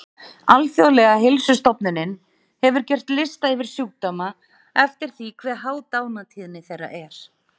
Alþjóðlega heilsustofnunin hefur gert lista yfir sjúkdóma eftir því hve há dánartíðni þeirra er.